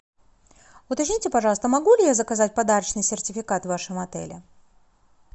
уточните пожалуйста могу ли я заказать подарочный сертификат в вашем отеле